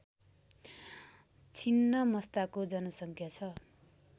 छिन्नमस्ताको जनसङ्ख्या छ